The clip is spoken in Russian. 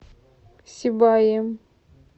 сибаем